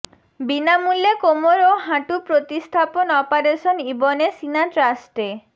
বিনামূল্যে কোমর ও হাঁটু প্রতিস্থাপন অপারেশন ইবনে সিনা ট্রাস্টে